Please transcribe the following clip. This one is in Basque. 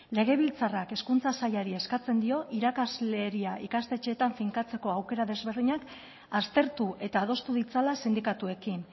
legebiltzarrak hezkuntza sailari eskatzen dio irakasleria ikastetxeetan finkatzeko aukera desberdinak aztertu eta adostu ditzala sindikatuekin